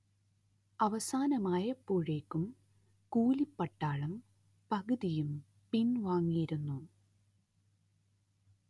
അവസാനമായപ്പോഴേക്കും കൂലിപ്പട്ടാളം പകുതിയും പിൻ‍വാങ്ങിയിരുന്നു